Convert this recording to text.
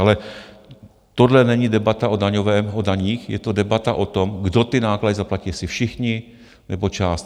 Ale tohle není debata o daních, je to debata o tom, kdo ty náklady zaplatí, jestli všichni, nebo část.